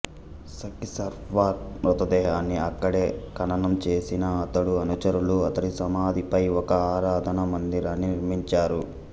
సఖి సర్వార్ మృతదేహాన్ని అక్కడే ఖననం చేసిన అతడు అనుచరులు అతడి సమాధిపై ఒక ఆరాధనా మందిరాన్ని నిర్మించారు